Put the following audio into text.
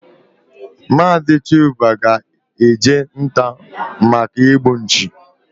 Mazi Chuba ga eje nta maka igbu nchi